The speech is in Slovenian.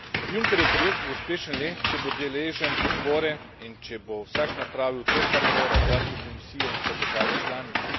Junckerjev projekt bo uspešen le, če bo deležen podpore in če bo vsak napravil to, kar mora zlasti Komisija in pa države članice.